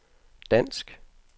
dansk